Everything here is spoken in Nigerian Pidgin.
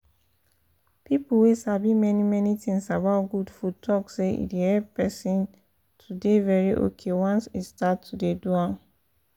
people wey sabi many many things about good food talk say e dey help person to dey very okay once e start to dey do am